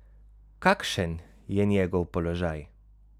Kakšen je njegov položaj?